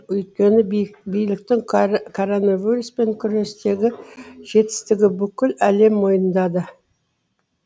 өйткені биліктің коронавируспен күрестегі жетістігін бүкіл әлем мойындады